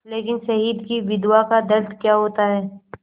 लेकिन शहीद की विधवा का दर्द क्या होता है